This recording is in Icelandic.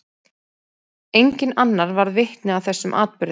Enginn annar varð vitni að þessum atburði.